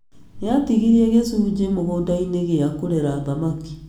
Nĩatigirie gĩcunjĩ mũgũnda-inĩ gĩa kũrera thamaki